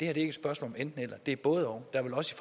er et spørgsmål om enten eller men det er både og der vil også